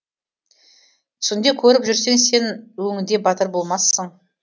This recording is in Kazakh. түсіңде қорқып жүрсең сен өңіңде батыр болмассың